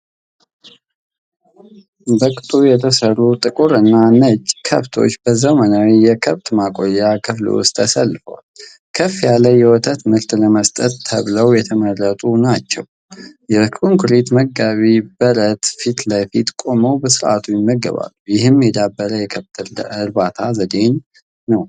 በቅጡ የተሰሩ ጥቁርና ነጭ ከብቶች በዘመናዊ የከብት ማቆያ ክፍል ውስጥ ተሰልፈዋል። ከፍ ያለ የወተት ምርት ለመስጠት ተብለው የተመረጡ ናቸው። በኮንክሪት መጋቢ በረት ፊት ለፊት ቆመው በሥርዓት ይመገባሉ። ይህም የዳበረ የከብት እርባታ ዘዴን ነው።